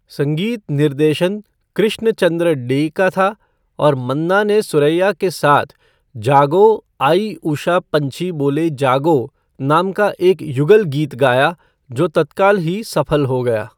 संगीत निर्देशन कृष्ण चंद्र डे का था और मन्ना ने सुरैया के साथ 'जागो आई उषा पंछी बोले जागो' नाम का एक युगल गीत गाया जो तत्काल ही सफल हो गया।